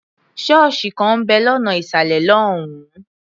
Ṣọ́ọ̀sì kan ń bẹ̀ lọ́nà ìsàlẹ̀ lọ́hùn-ún.